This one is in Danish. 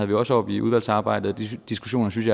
vi også oppe i udvalgsarbejdet og de diskussioner synes